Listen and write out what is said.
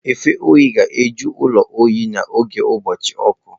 Mfe oyi ga-ajụkwa ụlọ oyi n'oge ụbọchị ọkụ.